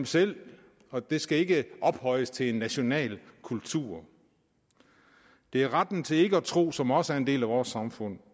selv og det skal ikke ophøjes til en national kultur det er retten til ikke at tro som også er en del af vores samfund